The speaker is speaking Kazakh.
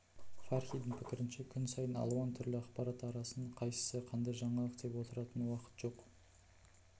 фархидің пікірінше күн сайын алуан түрлі ақпарат арасынан қайсысы қандай жаңалық деп отыратын уақыт жоқ